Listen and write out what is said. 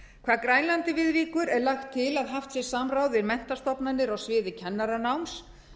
hvað grænlandi viðvíkur er lagt til að haft sé samráð við menntastofnanir á sviði kennaranáms